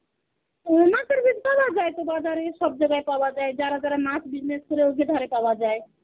ইম মাছের বীজ গুলো সব জায়গায় পাওয়া যায়. যারা যারা মাছ business করে ওদের ঘরে পাওয়া যায়.